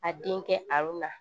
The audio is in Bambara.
A den kɛ a la